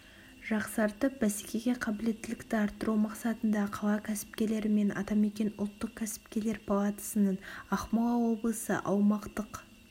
жақсартып бәсекеге қабілеттілікті арттыру мақсатында қала кәсіпкерлері мен атамекен ұлттық кәсіпкерлер палатасының ақмола облысы аумақтық